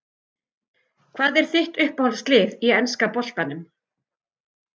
Hvað er þitt uppáhalds lið í enska boltanum?